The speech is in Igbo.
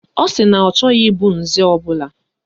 Ọ sị na ọ chọghị ịbụ nze ọbụla